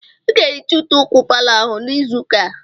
Ị ga-ehicha ute ụkwụ palọ ahụ n'izu ụka a!